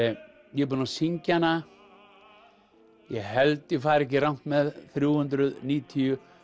ég er búin að syngja hana ég held ég fari ekki rangt með þrjú hundruð níutíu